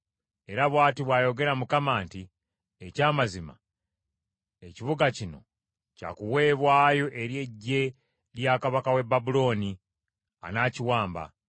Era bw’ati bw’ayogera Mukama nti, ‘Ekyamazima ekibuga kino kya kuweebwayo eri eggye lya kabaka w’e Babulooni; anaakiwamba.’ ”